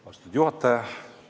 Austatud juhataja!